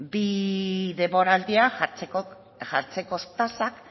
bi denboraldiak jartzeko tasak